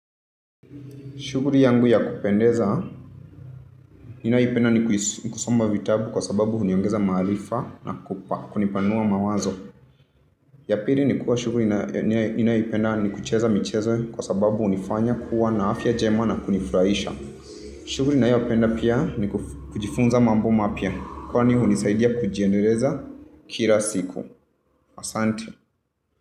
Shughuli yangu ya kupendeza, ninaipenda ni kusoma vitabu kwa sababu huniongeza maalifa na kunipanua mawazo. Yapili ni kwa shuburi ninaipenda ni kucheza michezo kwa sababu hunifanya kuwa na afia njema na kunifuraisha. Shuburi ninayoipenda pia ni kujifunza mambo mapya. Kwani hunisaidia kujiendeleza kila siku. Asante.